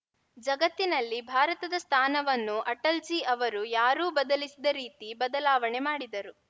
ಜಗತ್ತಿನಲ್ಲಿ ಭಾರತದ ಸ್ಥಾನವನ್ನು ಅಟಲ್‌ಜೀ ಅವರು ಯಾರೂ ಬದಲಿಸಿದ ರೀತಿ ಬದಲಾವಣೆ ಮಾಡಿದರು